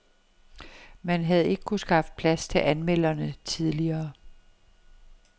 Man havde ikke kunnet skaffe plads til anmelderne tidligere.